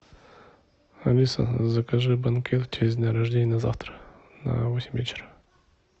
алиса закажи банкет в честь дня рождения на завтра на восемь вечера